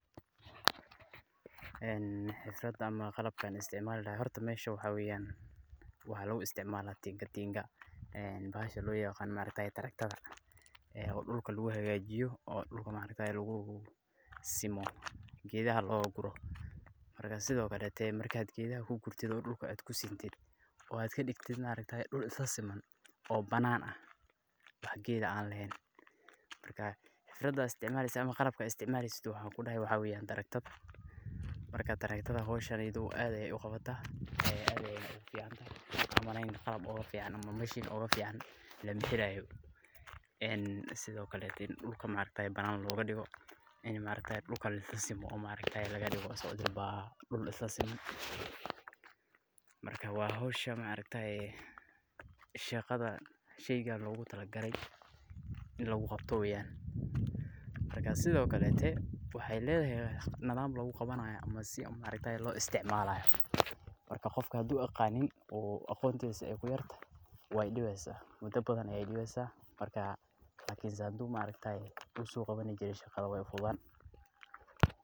Xiisada ama qalabka aan isticmaali lahaay, horta meesha waxaa weeyan waxaa lagu isticmaalaa tingatinga, bahasha loo yaqaano tractor ,oo dulka lagu hagaajiyo oo dulka lagu simo geedaha looga guro, markaad geedaha kugurtid oo dulka aad kusintid oo aad kadigtid dul isla siman, oo banaan ah, wax geed ah aan leheen, qalabka aad isticmaaleysid waxaa kudeh waa tractor ,marka howshan aad ayeey uqabataa, aad ayeey ufican tahay waxaa umaleyaa qalab ooga fican lama helaayo, sido kaleete dulka banaan looga digo, in dulka lisla simo oo laga digo dul isla siman, marka shaqada sheyga loogu tala gale in lagu qabto weeyan, sido kaleete waxeey ledahay nidaam lagu qabanaayo ama si loo isticmaalayo, marka qofka haduu aqaanin waay dibeysa, mudo badan ayeey dibeysa, lakinse hadii uu hore usoo qabani jire shaqada weey ufududaani.